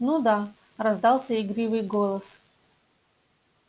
ну да раздался игривый голос